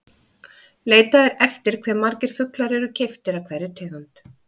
Leitað er eftir hve margir fuglar eru keyptir af hverri tegund.